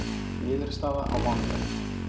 Niðurstaða á mánudag